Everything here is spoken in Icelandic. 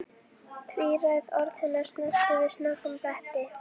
Tvíræð orð hennar snertu við snöggum bletti.